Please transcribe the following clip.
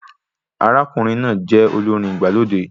Arákùnrin náà jẹ olórin igbalode